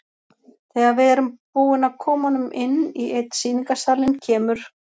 Þegar við erum búin að koma honum inn í einn sýningarsalinn kemur